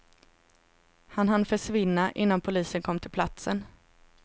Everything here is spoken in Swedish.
Han hann försvinna innan polisen kom till platsen.